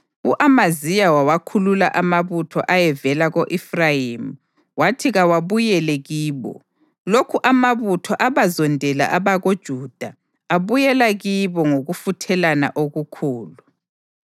U-Amaziya wawakhulula amabutho ayevela ko-Efrayimi wathi kawabuyele kibo. Lokhu amabutho abazondela abakoJuda abuyela kibo ngokufuthelana okukhulu.